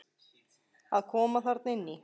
Að koma þarna inn í?